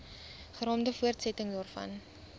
geraamde voortsetting daarvan